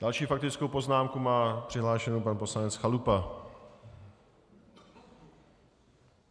Další faktickou poznámku má přihlášenu pan poslanec Chalupa.